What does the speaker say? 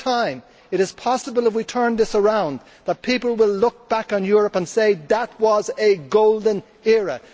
In time, it is possible if we turn this around that people will look back on Europe and say that was a golden era.